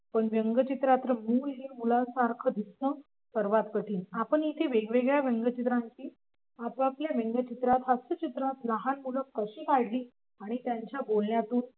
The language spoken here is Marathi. पण व्यंगचित्रात हुबेहूब मुलांसारखं दिसणं सर्वात कठीण आपण येथे वेगवेगळ्या रंग चित्रांची आपापल्या व्यंगचित्रात हास्य चित्रात लहान मुलं कशी काढली आणि त्यांच्या बोलण्यातून